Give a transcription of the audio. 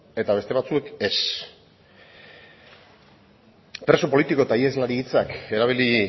eta beste batzuek ez expreso politiko eta iheslari hitzak erabili